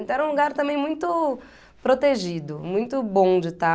Então era um lugar também muito protegido, muito bom de estar.